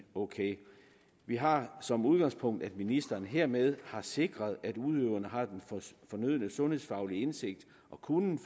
ok vi har som udgangspunkt at ministeren hermed har sikret at udøveren har den fornødne sundhedsfaglige indsigt i og kunnen